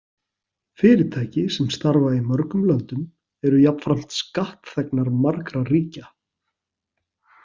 Fyrirtæki sem starfa í mörgum löndum eru jafnframt skattþegnar margra ríkja.